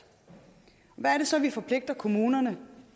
hvad er det så vi forpligter kommunerne